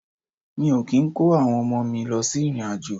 Mi o ki n ko awon omo mi lo si irin-ajo.